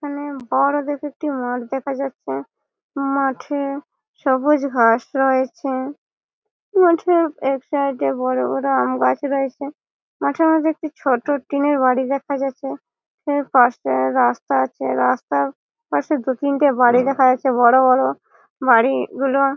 এখানে বড়ো দেখে একটি মাঠ দেখা যাচ্ছে । মাঠে সবুজ ঘাস রয়েছে। মাঠের এক সাইড -এ বড় বড় আমগাছ রয়েছে। মাঠের মধ্যে একটি ছোট টিন -এর বাড়ি দেখা যাচ্ছে । পাশে রাস্তা আছে রাস্তার পাশে দু তিনটে বাড়ি দেখা যাচ্ছে বড় বড়। বাড়িগুলো--